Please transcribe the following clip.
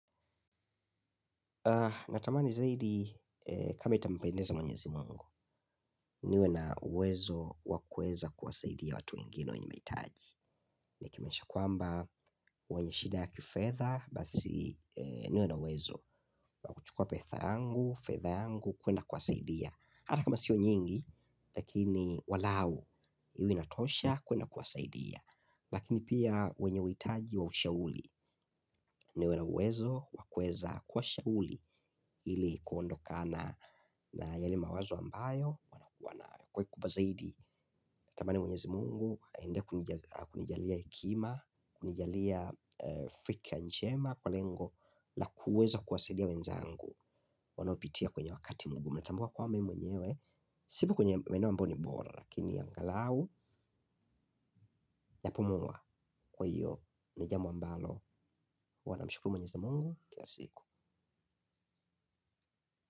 Natamani zaidi kama itampendeza mwenyezi mungu, niwe na uwezo wa kueza kuwasaidia watu wengine wenye mahitaji. Ya kimaisha kwamba wenye shida ya kifedha basi niwe na uwezo wa kuchukua pesa yangu, fedha yangu kuenda kuwasaidia. Hata kama sio nyingi lakini walau iwe inatosha kuenda kuwasaidia. Lakini pia wenye uhitaji wa ushauri. Niwe na uwezo wa kuweza kuwashauri. Ili kuondokana na yale mawazo ambayo wanakua nayo kwa kikubwa zaidi natamani mwenyezi mungu aendelee kunijalia hekima. Kunijalia fikra njema kwa lengo la kuweza kuwasaidia wenzangu wanaopitia kwenye wakati mgumuu natambua kwaba mimi mwenyewe. Sipo kwenye maeneo ambayo ni bora. Lakini angalau napumua kwa hiyo ni jambo ambalo huwa namshukuru mwenyezi mungu kila siku.